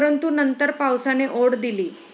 परंतु नंतर पावसाने ओढ दिली.